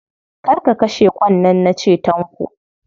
Kar ka kashe ƙwan nan na ce, Tanko.